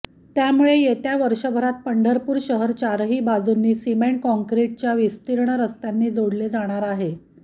त्यामुळे येत्या वर्षभरात पंढरपूर शहर चारही बाजूनी सिमेंट काँक्रिटच्या विस्तीर्ण रस्त्यांनी जोडले जाणार आहे